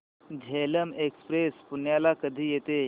Jhelum express पुण्याला कधी येते